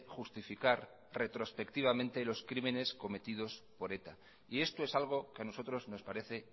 justificar retrospectivamente los crímenes cometidos por eta y esto es algo que a nosotros nos parece